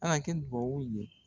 Ala kɛ duba u ye